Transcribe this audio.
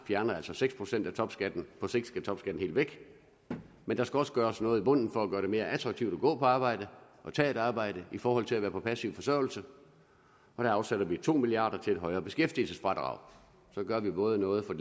fjerner altså seks procent af topskatten og på sigt skal topskatten helt væk men der skal også gøres noget i bunden for at gøre det mere attraktivt at gå på arbejde og tage et arbejde i forhold til at være på passiv forsørgelse og der afsætter vi to milliard kroner til et højere beskæftigelsesfradrag så gør vi både noget for